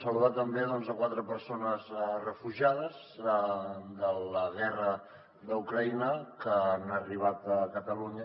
saludar també quatre persones refugiades de la guerra d’ucraïna que han arribat a catalunya